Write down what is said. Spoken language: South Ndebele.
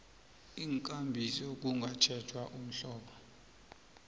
iinkambiso kungatjhejwa umhlobo